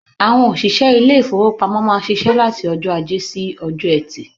Àwọn òṣìṣẹ́ ilé-ìfowópamọ́ máa ń ṣiṣẹ́ láti ọjọ́ Ajé sí Ọjọ́ẹtì.